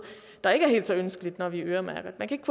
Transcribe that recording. der ikke er helt så ønskeligt når vi øremærker man kan